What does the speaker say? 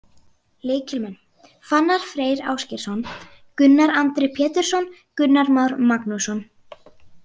Lykilmenn: Fannar Freyr Ásgeirsson, Gunnar Andri Pétursson, Gunnar Már Magnússon.